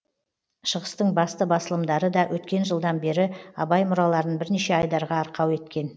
шығыстың басты басылымдары да өткен жылдан бері абай мұраларын бірнеше айдарға арқау еткен